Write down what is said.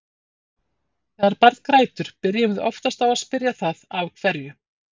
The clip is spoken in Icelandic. Þegar barn grætur byrjum við oftast á að spyrja það af hverju.